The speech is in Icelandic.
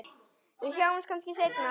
Við sjáumst kannski seinna.